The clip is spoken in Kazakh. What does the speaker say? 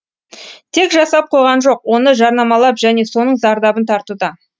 тек жасап қойған жоқ оны жарнамалап және соның зардабын тартуда